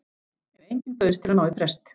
En enginn bauðst til að ná í prest.